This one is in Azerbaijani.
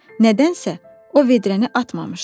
Nədənsə o vedrəni atmamışdı.